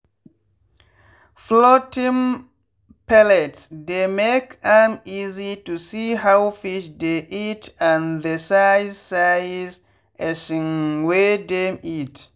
floating pellets dey make am easy to see how fish dey eat and the size size um wey dem eat